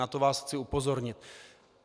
Na to vás chci upozornit.